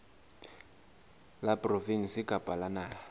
la provinse kapa la naha